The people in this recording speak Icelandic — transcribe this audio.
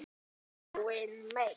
Loks virtist hann vera farinn.